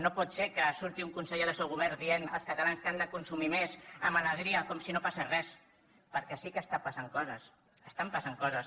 no pot ser que surti un conseller del seu govern dient als catalans que han de consumir més amb alegria com si no passés res perquè sí que estan passant coses estan passant coses